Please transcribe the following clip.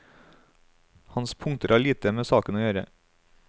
Hans punkter har lite med saken å gjøre.